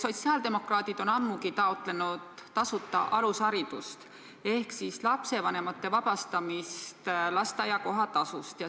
Sotsiaaldemokraadid on ammu taotlenud tasuta alusharidust ehk siis lapsevanemate vabastamist lasteaia kohatasust.